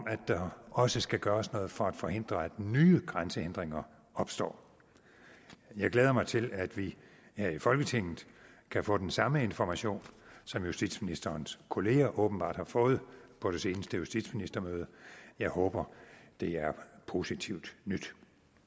at der også skal gøres noget for at forhindre at nye grænsehindringer opstår jeg glæder mig til at vi her i folketinget kan få den samme information som justitsministerens kollegaer åbenbart har fået på det seneste justitsministermøde og jeg håber der er positivt nyt